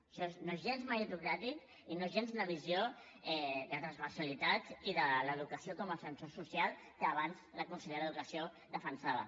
això no és gens meritocràtic ni és gens una visió de transversalitat ni de l’educació com a ascensor social que abans la consellera d’educació defensava